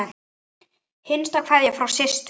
Hinsta kveðja frá systur.